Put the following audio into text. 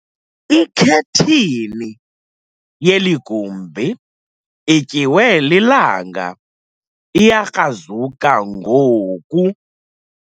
Ikhethini yeli gumbi ityiwe lilanga iyakrazuka ngoku.